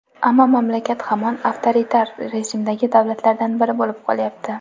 Ammo mamlakat hamon avtoritar rejimdagi davlatlardan biri bo‘lib qolyapti.